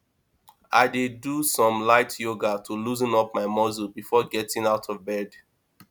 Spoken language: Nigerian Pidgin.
i dey do some light yoga to loosen up my muscles before getting out of bed